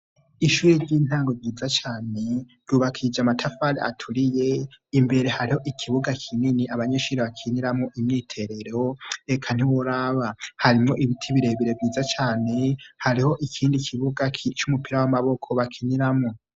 Ishuri ry'intango ryiza cane, ryubakishije amatafari aturiye, imbere hariho ikibuga kinini abanyeshuri bakiniramwo imyiterero eka ntiworaba! Harimwo ibiti birebere vyiza cane, hariho ikindi kibuga c'umupira w'amaboko bakiniramwo.